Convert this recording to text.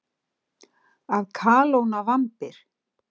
Að kalóna vambir.